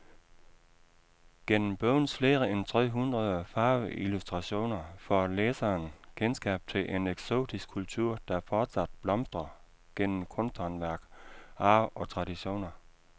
Gennem bogens flere end tre hundrede farveillustrationer får læseren kendskab til en eksotisk kultur, der fortsat blomstrer gennem kunsthåndværk, arv og traditioner.